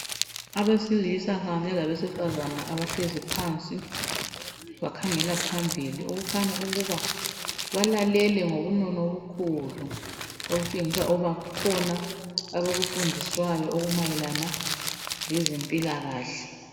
Abesilisa kanye labesifazana abahlezi phansi bakhangela phambili okukhanya ukuba balalele ngobunono obukhulu okutshengisa ukuba kukhona abakufundiswayo okumayelana lezempilakahle.